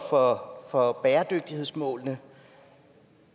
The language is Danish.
for for bæredygtighedsmålene